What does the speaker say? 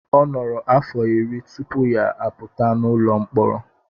Ọ nọrọ afọ iri tupu ya apụta n'ụlọ mkpọrọ.